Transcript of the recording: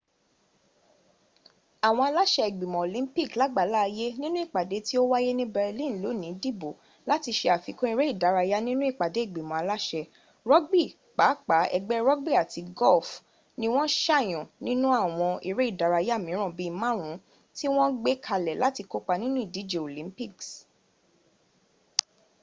àwọn aláṣẹ ìgbìmọ̀ olympic làgbáláayé ninú ìpàdé tí o wáyé ni berlin lónìí dìbò láti ṣe àfikún eré-ìdárayá nínú ìpàdé ìgbìmọ̀ aláṣẹ rugby pàápàá ẹgbẹ́ rugby àti golf ni wọ́n sàyàn nínú àwọn eré ìdárayá mìíràn bíi márùn ún tí wọ́n gbé kalẹ̀ láti kópa nínú ìdíje olympics